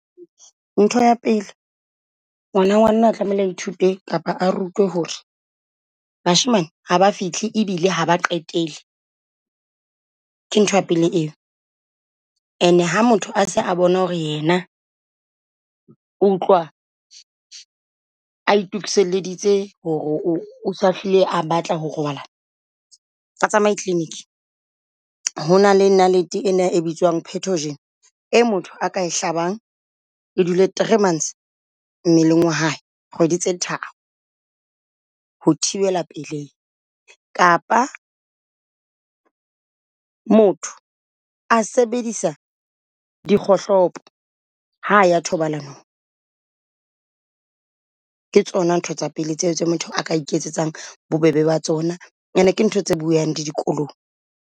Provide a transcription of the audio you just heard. Ntho ya pele ngwana ngwanana o tlamehile a ithute kapa a rutuwe ho re bashemane ha ba fihle e bile ha ba qetelle. Ke ntho ya pele eo ane ha motho a se a bona ho re yena o utlwa a itokiselleditse ho re o o sa hlile a batla ho robalana, a tsamaye clinic. Ho na le nalete ena e bitswang petogen e motho a ka e hlabang e dule three months mmeleng wa hae kgwedi tse tharo. Ho thibela pelehi kapa motho a sebedisa dikgohlopo ha a ya thobalanong. Ke tsona ntho tsa pele tseo tse motho a ka iketsetsang bobebe ba tsona, ene ke ntho tse bueang le dikolong.